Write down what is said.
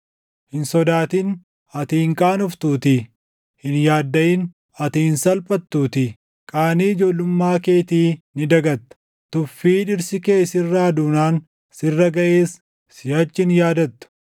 “Hin sodaatin; ati hin qaanoftuutii. Hin yaaddaʼin; ati hin salphattuutii; Qaanii ijoollummaa keetii ni dagatta; tuffii dhirsi kee sirraa duunaan sirra gaʼes siʼachi hin yaadattu.